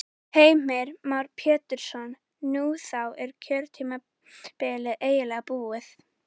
Heimir Már Pétursson: Nú, þá er kjörtímabilið eiginlega búið?